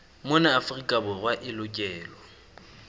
mona afrika borwa e lokelwa